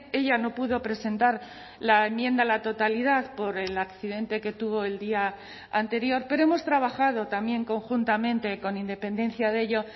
ella no pudo presentar la enmienda a la totalidad por el accidente que tuvo el día anterior pero hemos trabajado también conjuntamente con independencia de ello